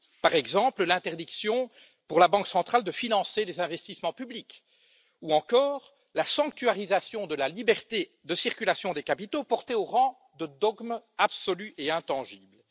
par exemple l'interdiction pour la banque centrale de financer des investissements publics, ou encore la sanctuarisation de la liberté de circulation des capitaux, portée au rang de dogme absolu et intangible.